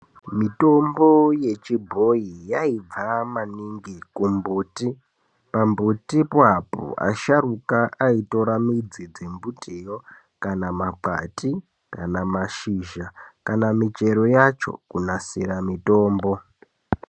Mitombo yechibhoyi yayibva maningi kumbuti. Pambuti papo, asharuka ayitora midzi dzembutiyo kana mabwati, kana mashizha, kana michero yacho kunonasira mitombo.